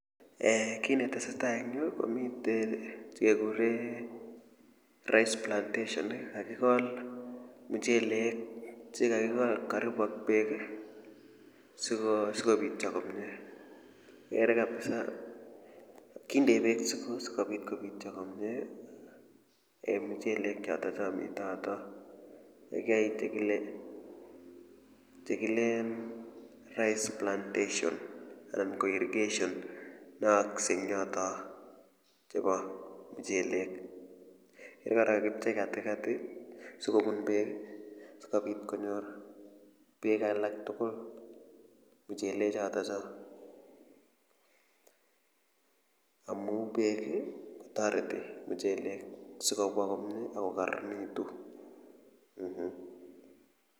Kit ne tese tai en yu komitei che kekure rice plantation i, kakikol muchelek , che kakikol karibu ak peek i, si kopitya komye, igere kapisa kindei peek si kopit kopitya komye mchelechotok mitei yotok. Kiyae chekileen rice plantation anan ko irrigation ne yaakse eng' yotok chepo muchelek. Ker kora kakipchei katikati sikopun peek si kopit konyor peek alak tugul muchelechotocho amu peek ko tareti muchelek si kopwa komue ako kararanitu.